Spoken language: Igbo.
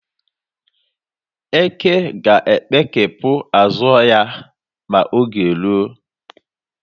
Eke ga-ekpekepụ azụ ya ma oge ya ruo.